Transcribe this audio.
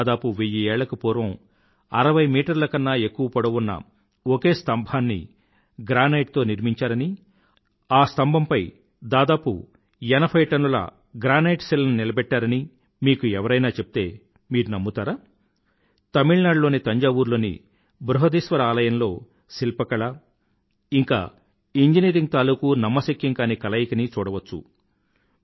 దాదాపు వెయ్యి ఏళ్లకు పూర్వం అరవై మీటర్ల కన్నా ఎక్కువ పొడువు ఉన్న ఒక్క స్థంభాన్ని గ్రానైట్ తో నిర్మించారని ఆ స్థంభం పై దాదాపు ఎనభై టన్నుల గ్రెనైట్ శిలను నిలబెట్టారని మీకు ఎవరైనా చెప్తే మీరు నమ్ముతారా తమిళ్నాడులోని తంజావూర్ లోని బృహదీశ్వర ఆలయంలో శిల్ప కళ ఇంకా ఇంజనీరింగ్ తాలూకూ నమ్మశక్యం గాని కలయికని చూడవచ్చు